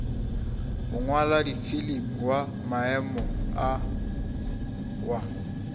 mongwaladifilimi wa maemo a wa